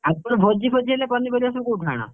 ଆଉ ଭୋଜି ଫୋଜି ହେଲେ ପନିପରିବା ସବୁ କୋଉଠୁ ଆଣ?